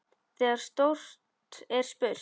Þegar stórt er spurt.